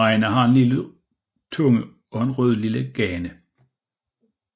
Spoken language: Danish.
Reinar har en lilla tunge og rødlilla gane